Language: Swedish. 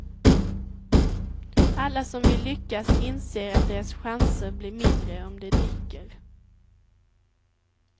Alla som vill lyckas inser att deras chanser blir mindre om de dricker.